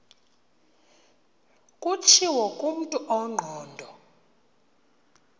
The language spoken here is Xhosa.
kutshiwo kumntu ongqondo